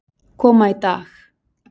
koma í dag.